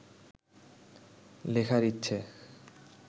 লেখার ইচ্ছে